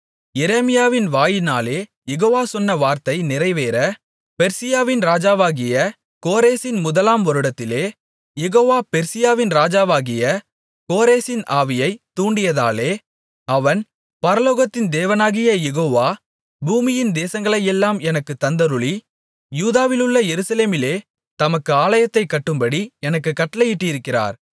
எரேமியாவின் வாயினாலே யெகோவா சொன்ன வார்த்தை நிறைவேற பெர்சியாவின் ராஜாவாகிய கோரேசின் முதலாம் வருடத்திலே யெகோவா பெர்சியாவின் ராஜாவாகிய கோரேசின் ஆவியைத் தூண்டியதாலே அவன் பரலோகத்தின் தேவனாகிய யெகோவா பூமியின் தேசங்களையெல்லாம் எனக்குத் தந்தருளி யூதாவிலுள்ள எருசலேமிலே தமக்கு ஆலயத்தைக் கட்டும்படி எனக்குக் கட்டளையிட்டிருக்கிறார்